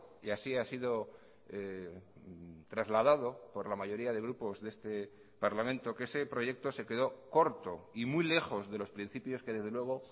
y así ha sido trasladado por la mayoría de grupos de este parlamento que ese proyecto se quedó corto y muy lejos de los principios que desde luego